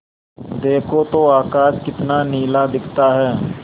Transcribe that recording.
देखो तो आकाश कितना नीला दिखता है